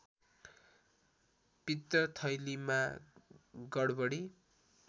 पित्तथैलीमा गडबडी